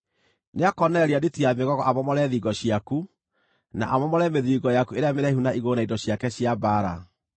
Nĩakoonereria nditi ya mĩgogo amomore thingo ciaku, na amomore mĩthiringo yaku ĩrĩa mĩraihu na igũrũ na indo ciake cia mbaara.